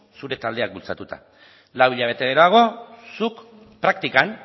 zure taldeak bultzatuta lau hilabete geroago zuk praktikan